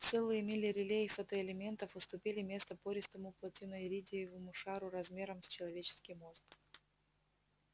целые мили реле и фотоэлементов уступили место пористому платиноиридиевому шару размером с человеческий мозг